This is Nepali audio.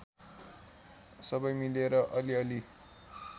सबै मिलेर अलिअलि